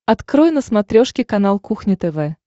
открой на смотрешке канал кухня тв